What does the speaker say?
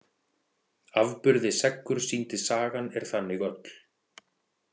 Afburði seggur sýndi sagan er þannig öll.